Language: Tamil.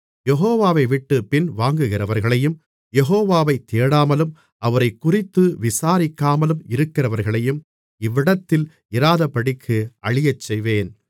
யெகோவாவைவிட்டுப் பின்வாங்குகிறவர்களையும் யெகோவாவை தேடாமலும் அவரைக்குறித்து விசாரிக்காமலும் இருக்கிறவர்களையும் இவ்விடத்தில் இராதபடிக்கு அழியச்செய்வேன்